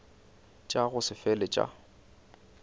tša go se fele tša